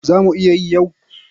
Za mu iya yi yau.